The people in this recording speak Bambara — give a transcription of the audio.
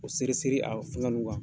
O seri seri a fɛngɛ ninnu kan.